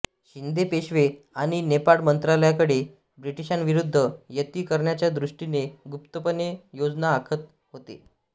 शिंदे पेशवे आणि नेपाळ मंत्रालयाकडे ब्रिटिशांविरूद्ध युती करण्याच्या दृष्टीने गुप्तपणे योजना आखत होते